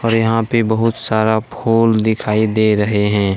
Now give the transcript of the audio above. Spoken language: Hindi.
और यहाँ पे बहुत सारा फूल दिखाई दे रहे हैं।